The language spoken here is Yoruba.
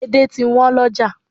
Edé ti wọ́n lọ́jà